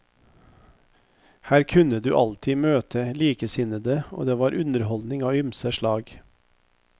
Her kunne du alltid møte likesinnede og det var underholdning av ymse slag.